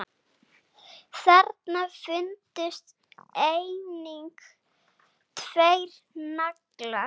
Þarna fundust einnig tveir naglar.